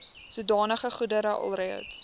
sodanige goedere alreeds